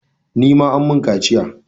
Ni ma an mun kaciya.